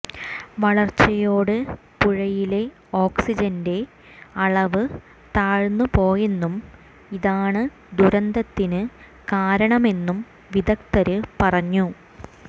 വരള്ച്ചയോടെ പുഴയിലെ ഓക്സിജന്റെ അളവ് താഴ്ന്ന് പോയെന്നും ഇതാണ് ദുരന്തത്തിന് കാരണമെന്നും വിദഗ്ധര് പറഞ്ഞു